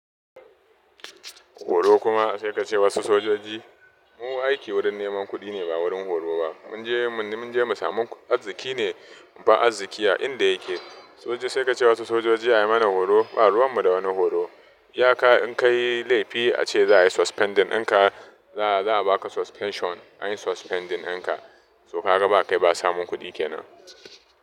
Horo kuma sai ka ce wasu sojoji, mu aiki wurin neman kuɗi ne ba wurin horo ba. Mun je mun je mu samu arziki ne, mu bar arziki a inda yake. Soja sai ka ce wasu sojoji a yi mana horo, ba ruwan mu da wani horo. iYa ka in ka yi laifi, ace za a yi suspending ɗin ka, za a ba ka suspension, an yi suspending ɗin ka. To ka ga ba kai ba samun kuɗi ke nan.